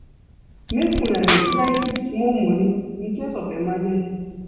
Make una dey try keep small moni in case of emergency.